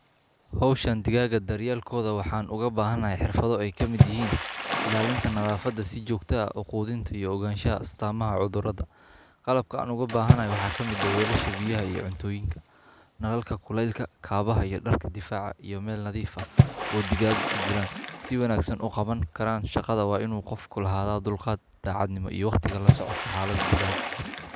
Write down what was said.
Hawshan digaagga daryeelkooda waxa aan ugu baahanahay xirfado ay ka mid yihiin ilaalinta nadaafadda, si joogto ah u quudinta, iyo ogaanshaha astaamaha cudurrada. Qalabka aan ugu baahanahay waxaa ka mid ah weelasha biyaha iyo cuntooyinka, nalalka kulaylka, kabaha iyo dharka difaaca, iyo meelo nadiif ah oo digaagga ku jiraan. Si wanaagsan u qaban karaan shaqadan waa in uu qofku lahaadaa dulqaad, daacadnimo iyo waqtiga la socodka xaaladda digaagga.